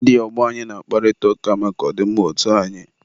ndị ọgbọ anyị na-akparịta ụka maka ọ dị mma otu anyị.